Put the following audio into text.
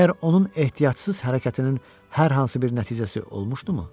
Məgər onun ehtiyatsız hərəkətinin hər hansı bir nəticəsi olmuşdumu?